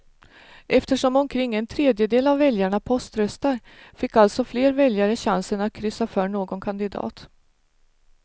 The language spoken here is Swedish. Eftersom omkring en tredjedel av väljarna poströstar fick alltså fler väljare chansen att kryssa för någon kandidat.